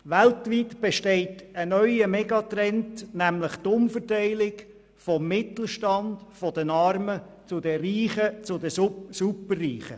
Weltweit besteht ein Megatrend der Umverteilung vom Mittelstand und den Armen zu den Reichen und Superreichen.